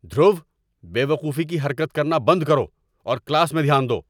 دھرو، بے وقوفی کی حرکت کرنا بند کرو اور کلاس میں دھیان دو!